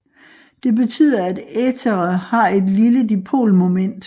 Det betyder at ethere har et lille dipolmoment